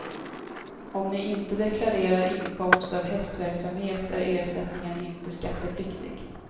Om ni inte deklarerar inkomst av hästverksamhet är ersättningen inte skattepliktig.